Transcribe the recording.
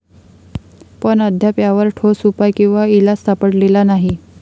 पण अद्याप यावर ठोस उपाय किंवा इलाज सापडलेला नाही.